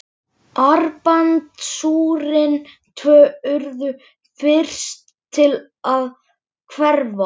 Armbandsúrin tvö urðu fyrst til að hverfa.